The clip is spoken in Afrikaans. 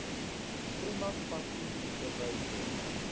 prima facie bewyse